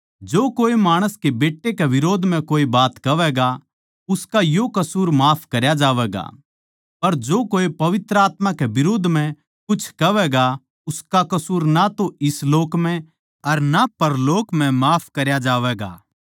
जो कोए माणस के बेट्टे कै बिरोध म्ह कोए बात कहवैगा उसका यो कसूर माफ करया जावैगा पर जो कोए पवित्र आत्मा कै बिरोध म्ह कुछ कहवैगा उसका कसूर ना तो इस लोक म्ह अर ना परलोक म्ह माफ करया जावैगा